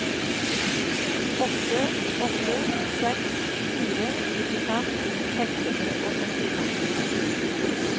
åtte åtte seks fire nittifem seks hundre og sekstifem